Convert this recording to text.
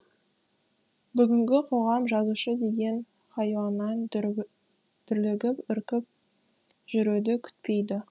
бүгінгі қоғам жазушы деген хайуаннан дүрлігіп үркіп жүруді күтпейді